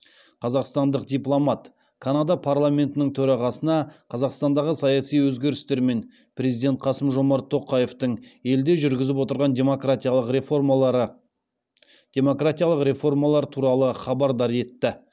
қазақстандық дипломат канада парламентінің төрағасына қазақстандағы саяси өзгерістер мен президент қасымжомарт тоқаевтың елде жүргізіп отырған демократиялық реформалар туралы хабардар етті